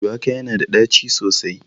Shuwaka yana da ɗaci sosai